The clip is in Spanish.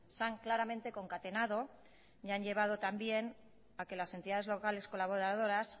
se han concatenado claramente y han llevado también a que las entidades locales colaboradoras